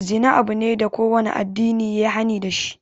Zina abu ne da kowane addini yayi hani dashi.